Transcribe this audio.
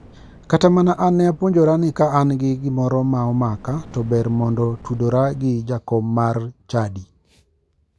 Kata mana an ne apuonjora ni ka an gi gimoro ma omaka to ber mondo tudora gi jakom mar chadi.